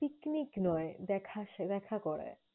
Picnic নয়, দেখাস~ দেখা করায়।